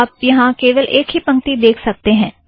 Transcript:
आप यहाँ केवल एक ही पंक्ति देख सकतें हैं